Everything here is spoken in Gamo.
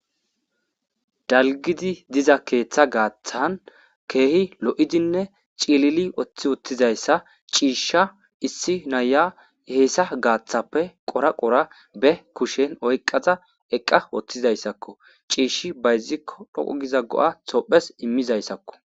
Dalgidi diza keeththa gaaththan keehi lo'idinne ciilili oththi wottizayssa ciishsha issi naya heessa gaaththappe qora qora be kushen oyqqaza eqqa woththizayssakko ciishshi bayzikko dhoqo giza go'a tophes immizayssakko.